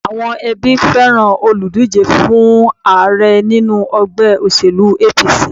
Àwọn ẹbí fẹ́ràn olùdíje fún Ààrẹ nínú ègbé òṣèlú APC